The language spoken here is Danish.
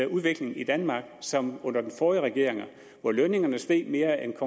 udviklingen i danmark som under den forrige regering hvor lønningerne steg mere end